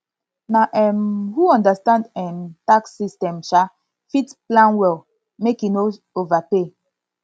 na um who understand um tax system um fit plan well make e no overpay